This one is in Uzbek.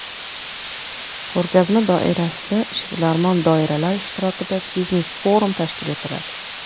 Ko‘rgazma doirasida ishbilarmon doiralar ishtirokida biznes-forum tashkil etiladi.